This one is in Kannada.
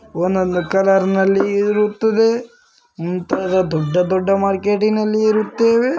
ಒಂದೊಂದು ಕಲರ್ನಲ್ಲಿ ಇರುತ್ತದೆ ಮುಂತಾದ ದೊಡ್ಡ ದೊಡ್ಡ ಮಾರ್ಕೆಟಿ ನಲ್ಲಿ ಇರುತ್ತೇವೆ .